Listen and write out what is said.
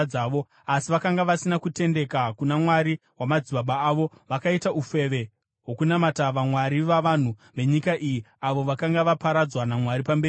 Asi vakanga vasina kutendeka kuna Mwari wamadzibaba avo, vakaita ufeve hwokunamata vamwari vavanhu venyika iyi avo vakanga vaparadzwa naMwari pamberi pavo.